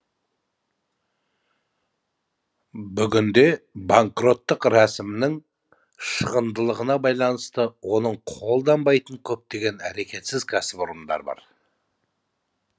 бүгінде банкроттық рәсімнің шығындылығына байланысты оны қолданбайтын көптеген әрекетсіз кәсіпорындар бар